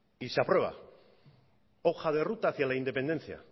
y se aprueba hoja de ruta hacia la independencia